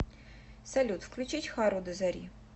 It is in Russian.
салют включить хару до зари